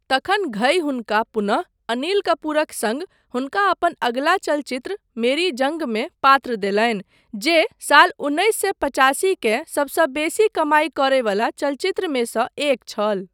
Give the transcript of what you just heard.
तखन घई हुनका पुनः अनिल कपूरक सङ्ग हुनका अपन अगिला चलचित्र, मेरी जँगमे, पात्र देलनि जे साल उन्नैस सए पचासी के सबसँ बेसी कमाई करयवला चलचित्रमे सँ एक छल।